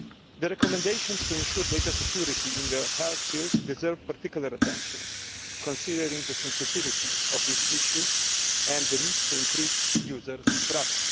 The recommendations aiming to ensure data security in the health field deserve particular attention, considering the sensitivity of this issue and the need to increase users' trust.